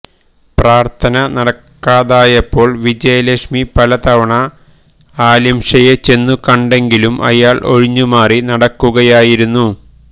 പ്രാര്ഥന നടക്കാതായപ്പോള് വിജയലക്ഷ്മി പല തവണ അലിംഷയെ ചെന്നു കണ്ടെങ്കിലും അയാള് ഒഴിഞ്ഞുമാറി നടക്കുകയായിരുന്നു